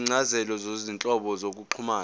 izincazelo zezinhlobo zokuxhumana